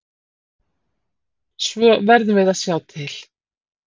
Svo við verðum að sjá til.